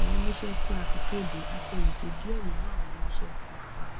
awọn oniṣẹ ti a ti kede a ti mọ pe diẹ ninu awọn oniṣẹ ti fa